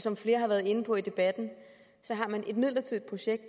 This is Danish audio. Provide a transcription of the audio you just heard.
som flere har været inde på i debatten har man et midlertidigt projekt